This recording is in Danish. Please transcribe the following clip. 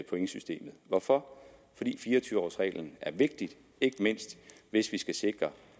pointsystemet hvorfor fordi fire og tyve års reglen er vigtig ikke mindst hvis vi skal sikre